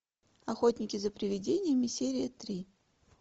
охотники за привидениями серия три